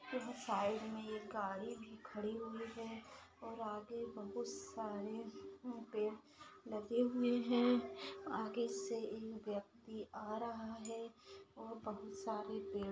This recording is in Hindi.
यहां साइड मे ये गाड़ी भी खड़ी हुई है। और आगे बहुत सारे पेड़ लगे हुए है। आगे से एक व्यक्ति आ रहा है। और बहुत सारे पेड़--